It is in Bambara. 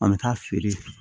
An bɛ taa feere